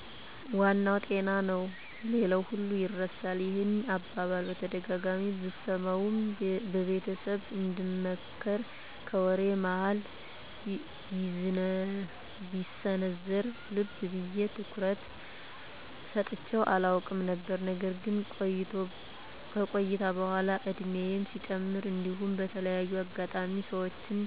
" ዋናው ጤና ነው ሌላው ሁሉ ይርሳል። " ይህን አባባል በተደጋጋሚ ብሰማውም በቤተሰብ እንደምክር ከወሬ መሀል ቢሰነዘርም ልብ ብየ አትኩሮት ሰጥቸው አላውቅም ነበር። ነገር ግን ከቆይታ በኃላ እድሜየም ሲጨምር እንዲሁም በተለያየ አጋጣሚ ሰወችን